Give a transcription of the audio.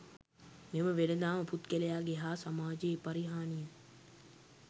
මෙම වෙළෙදාම පුද්ගලයාගේ හා සමාජයේ පරිහානිය